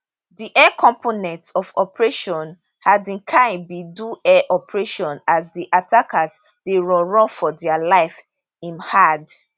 di air component of operation hadin kai bin do air operation as di attackers dey run run for dia life im add